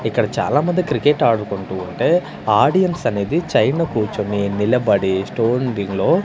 ఇక్కడ చాలా మంది క్రికెట్ ఆడుకుంటూ ఉంటే ఆడియన్స్ అనేది చైన్ లో కూర్చోని నిలబడి స్టోన్ బిన్ లో --